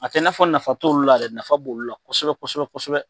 A tɛ i nafɔ t'olu la dɛ, nafa b'olu la kosɛbɛ kosɛbɛ kosɛbɛ.